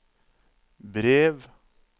brev